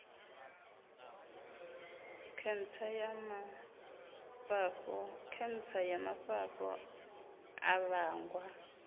khentsa ya mafhafhu a vhangwa